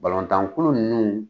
Balɔntankulu ninnu